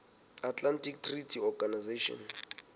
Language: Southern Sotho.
atlantic treaty organization